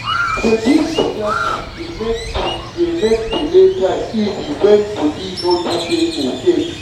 to dey give better food dey make food dey make belle time easy even when body no too dey okay.